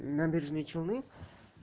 набережные челны